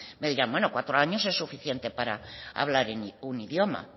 me dirán bueno cuatro años es suficiente para hablar en un idioma